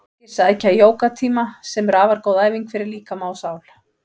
Margir sækja jógatíma sem eru afar góð æfing fyrir líkama og sál.